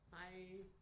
Hej